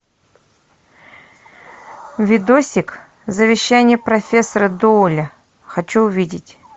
видосик завещание профессора доуэля хочу увидеть